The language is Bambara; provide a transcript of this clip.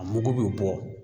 A mugu bi bɔ